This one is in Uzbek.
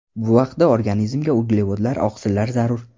Bu vaqtda organizmga uglevodlar, oqsillar zarur.